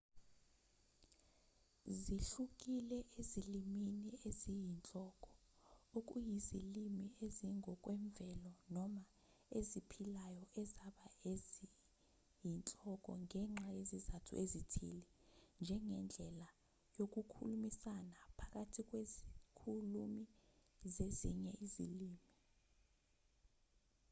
zihlukile ezilimini eziyinhloko okuyizilimi ezingokwemvelo noma eziphilayo ezaba eziyinhloko ngenxa yezizathu ezithile njengendlela yokukhulumisana phakathi kwezikhulumi zezinye izilimi